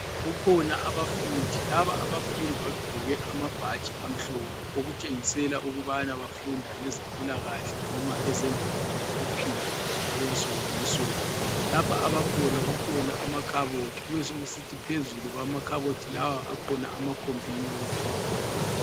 Kukhona abafundi, laba abafundi bagqoke amabhatshi amhlophe okutshengisela ukubana bafunda ngezempilakahle noma ezemvelo lokuphila okwensuku ngensuku, lapha abakhona kukhona amakhabothi kube sokusithi phezulu kwamakhabothi lawa akhona ama computer